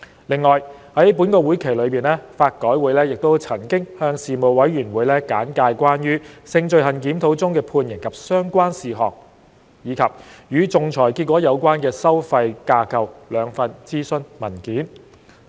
另外，在本會期內，法改會曾向事務委員會簡介關於《性罪行檢討中的判刑及相關事項》及《與仲裁結果有關的收費架構》兩份諮詢文件。